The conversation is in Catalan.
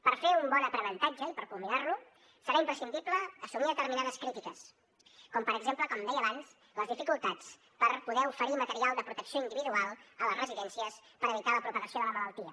per fer un bon aprenentatge i per culminar lo serà imprescindible assumir determinades crítiques com per exemple com deia abans les dificultats per poder oferir material de protecció individual a les residències per evitar la propagació de la malaltia